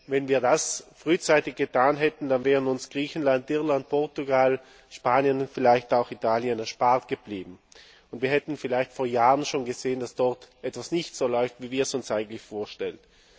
Wenn wir das frühzeitig erkannt hätten, dann wären uns Griechenland, Irland, Portugal, Spanien und vielleicht auch Italien erspart geblieben, und wir hätten vielleicht vor Jahren schon gesehen, dass dort etwas nicht so läuft, wie wir es uns eigentlich vorstellen.